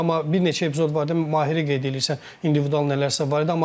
Amma bir neçə epizod var idi, Mahiri qeyd eləyirsən, individual nələrsə var idi.